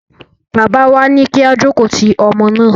Bàbá wa ní kí á jókòó ti ọmọ náà.